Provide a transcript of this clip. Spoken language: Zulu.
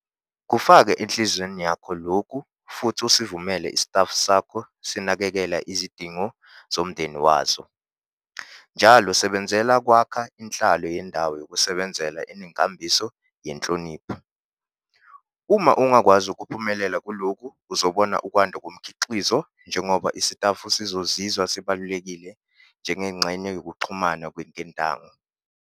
Kufake enhliziyweni yakho lokhu futhi usivumele isitafu sakho sinakekele izidingo zomndeni wazo. Njalo sebenzela ukwakha inhlalo yendawo yokusebenza enenkambiso yenhlonipho. Uma ungakwazi ukuphumelela kulokhu uzobona ukwanda komkhiqizo, njengoba isitafu sizozizwa sibalulekile njengengxenye yokuxhumana kweketango.